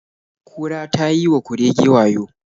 Kura ta yi wa kurege wayo.